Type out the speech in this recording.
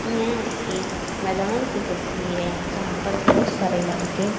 यह एक मैदान की तस्वीर है जहां पर बहोत सारे लड़के--